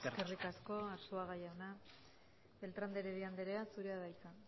eskerrik asko eskerrik asko arzuaga jauna beltrán de heredia andrea zurea da hitza